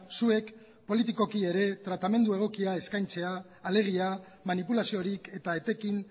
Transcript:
zuek politikoki ere tratamendu egokia eskaintzea alegia manipulaziorik eta etekin